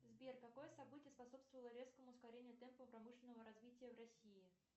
сбер какое событие способствовало резкому ускорению темпу промышленного развития в россии